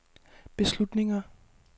beslutninger